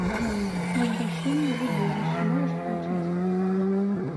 возвращение в убежище можешь включить